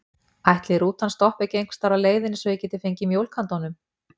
Ætli rútan stoppi ekki einhversstaðar á leiðinni svo ég geti fengið mjólk handa honum?